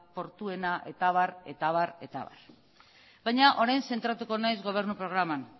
portuena eta abar eta abar eta abar baina orain zentratuko naiz gobernu programan